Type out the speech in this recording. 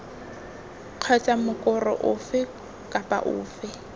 kgotsa mokoro ofe kapa ofe